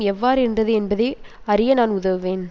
எவ்வாறு இருந்தது என்பதை அறிய நான் உதவுவேன்